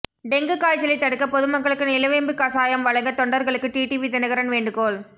dengue காய்ச்சலை தடுக்க பொதுமக்களுக்கு நிலவேம்பு கசாயம் வழங்க தொண்டர்களுக்கு டிடிவி தினகரன் வேண்டுகோள்